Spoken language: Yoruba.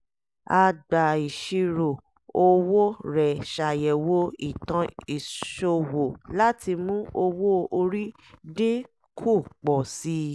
agbà-ìṣirò owó rẹ̀ ṣàyẹ̀wò ìtàn ìṣòwò láti mú owó-orí dín kù pọ̀ sí i